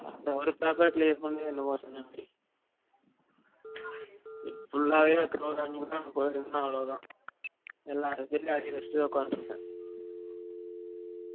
அந்த ஒரு paper clear பன்னவே, இது full ஆவே programming நா போய் இருந்தேனா அவலோ தான் எல்லா subject லையும் arrear வச்சிட்டு தான் உட்கந்து இருபேன்